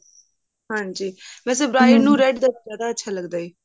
ਹਾਂਜੀ ਵੇਸੇ boys ਨੂੰ red color ਜਿਆਦਾ ਪਸੰਦ ਹੈ